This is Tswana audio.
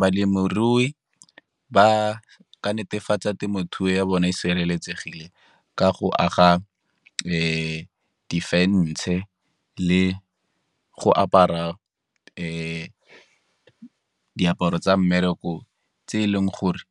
Balemirui ba ka netefatsa temothuo ya bona e sireletsegile ka go aga di-fence-e le go apara diaparo tsa mmereko tse e leng gore